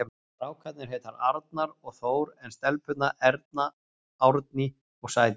Strákarnir heita Arnar og Þór en stelpurnar Erna, Árný og Sædís.